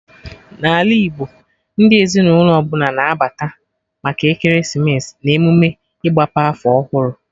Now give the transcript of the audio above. Na ala Igbo, ndị ezinụlọ ọbụla na-abata maka ekeresimesi na emụme ịgbape afọ ọhụrụ